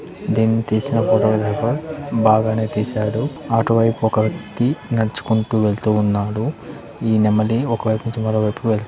దీన్ని తీసిన ఫోటో ఎవరో బాగానే తీసాడు అటువైపు ఒక వ్యక్తి నడుచుకుంటూ వెళ్తూ ఉన్నాడు ఈ నెమలి ఒకవైపు నుంచి మరో వైపుకు వెళ్తుంది.